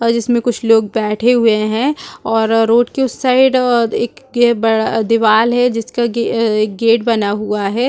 जिसमें कुछ लोग बैठे हुए हैं और रोड के उस साइड एक बड़ा दीवार है जिसका एक गेट बना हुआ है।